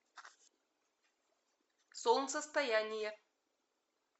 солнцестояние